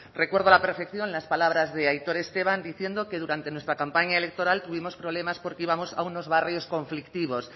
recuerdo a la perfección las palabras de aitor esteban diciendo que durante nuestra campaña electoral tuvimos problemas porque íbamos a unos barrios conflictivos